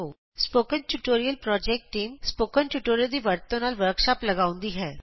spoken tutorial project team spoken tutorial ਦੀ ਵਰਤੋਂ ਨਾਲ ਵਰਕਸ਼ਾਪ ਲਗਾਉਂਦੀ ਹੈ